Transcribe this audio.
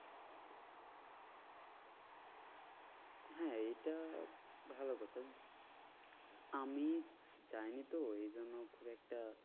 হম এইটা ভালো কথা আমি যায়নি তো ঐজন্য খুব একটা